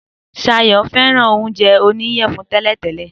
Sayò fẹ́ràn oúnjẹ oníyèfun tẹ́lẹ̀ tẹ́lẹ̀